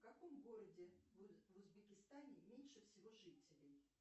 в каком городе в узбекистане меньше всего жителей